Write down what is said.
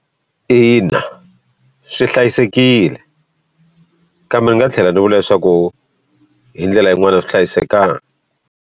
Ina, swi hlayisekile kambe ni nga tlhela ni vula leswaku hi ndlela yin'wani a swi hlayisekangi.